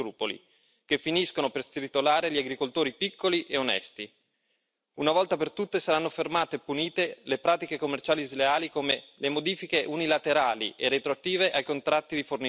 Una volta per tutte, saranno fermate e punite le pratiche commerciali sleali come le modifiche unilaterali e retroattive ai contratti di fornitura, le ritorsioni commerciali e il pagamento per servizi non resi.